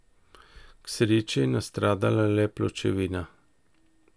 K sreči je nastradala le pločevina.